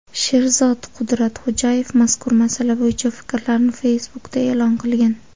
Sherzod Qudratxo‘jayev mazkur masala bo‘yicha fikrlarini Facebook’da e’lon qilgan .